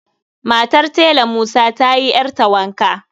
Matar Tela musa ta yi ƴarta wanka